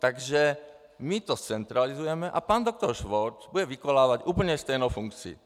Takže my to zcentralizujeme a pan doktor Švorc bude vykonávat úplně stejnou funkci.